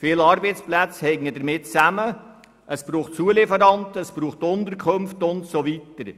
Viele Arbeitsplätze hängen damit zusammen, Zulieferanten, Unterkünfte und so weiter.